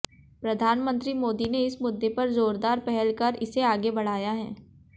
प्रधानमंत्री मोदी ने इस मुद्दे पर जोरदार पहल कर इसे आगे बढ़ाया है